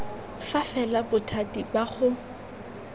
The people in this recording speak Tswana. fa fela bothati ba go